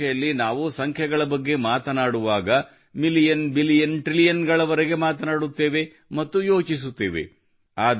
ಸಾಮಾನ್ಯ ಭಾಷೆಯಲ್ಲಿ ನಾವು ಸಂಖ್ಯೆಗಳ ಬಗ್ಗೆ ಮಾತನಾಡುವಾಗ ನಾವು ಮಿಲಿಯನ್ ಬಿಲಿಯನ್ ಮತ್ತು ಟ್ರಿಲಿಯನ್ ಗಳವರೆಗೆ ಮಾತನಾಡುತ್ತೇವೆ ಮತ್ತು ಯೋಚಿಸುತ್ತೇವೆ